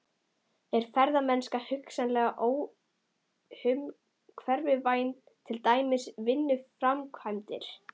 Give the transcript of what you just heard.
Er ferðamennska hugsanlega óumhverfisvænni en til dæmis virkjunarframkvæmdir?